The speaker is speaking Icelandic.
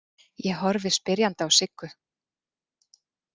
Ég horfi spyrjandi á Siggu.